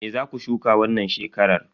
Me zaku shuka wannan shekarar?